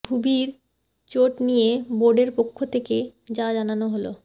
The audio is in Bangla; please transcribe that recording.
ভুবির চোট নিয়ে বোর্ডের পক্ষ থেকে যা জানানো হল